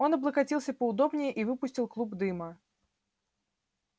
он облокотился поудобнее и выпустил клуб дыма